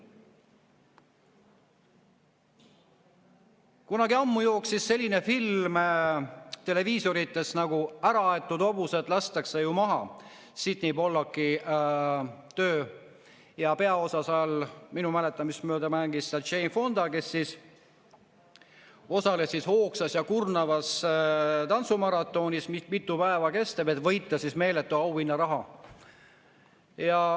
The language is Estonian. Kunagi ammu jooksis televiisorist selline film nagu "Äraaetud hobused lastakse ju maha", Sydney Pollacki töö, ja peaosa mängis seal minu mäletamist mööda Jane Fonda, kes osales hoogsas ja kurnavas tantsumaratonis, mitu päeva kestvas, et võita meeletu auhinnaraha.